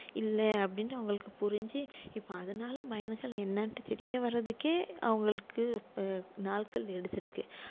இல்ல அப்படின்னுட்டு அவங்களுக்கு புரிஞ்சு இப்ப அதனால என்னான்ட்டு தெரிய வர்றதுக்கே அவங்களுக்கு இப்ப நாட்கள் எடுத்திருக்கு